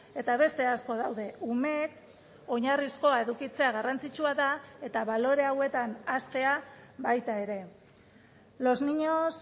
eta beste asko daude umeek oinarrizkoa edukitzea garrantzitsua da eta balore hauetan haztea baita ere los niños